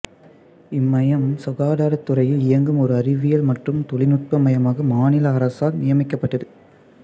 இம்மையம் சுகாதாரத் துறையில் இயங்கும் ஓர் அறிவியல் மற்றும் தொழில்நுட்ப மையமாக மாநில அரசால் நியமிக்கப்பட்டது